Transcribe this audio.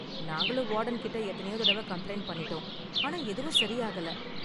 நாங்களும் வார்டன் கிட்ட எத்தனையோ தடவ கம்ப்ளைண்ட் பண்ணிட்டோம், ஆனா எதுவும் சரி ஆகல